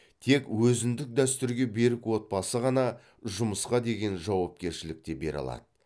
тек өзіндік дәстүрге берік отбасы ғана жұмысқа деген жауапкершілікті бере алады